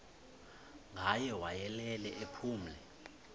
ngaye wayelele ephumle